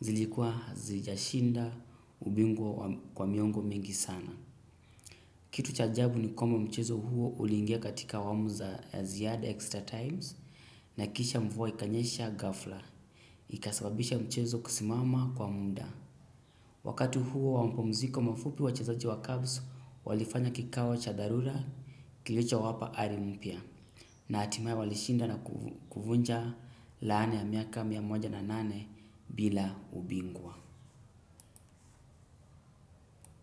Zilikuwa hazijashinda ubingwa kwa miongo mingi sana. Kitu chajabu ni kwamba mchezo huo ulingia katika awamu za ziada extra times. Na kisha mvua ikanyesha ghafla. Ikasababisha mchezo kusimama kwa muda. Wakat huo wamapumziko mafupi wachezaji wa kabs walifanya kikao cha dharura kilichowapa ari mpya na hatimae walishinda na kuvunja laana ya miaka mia moja na nane bila ubingwa.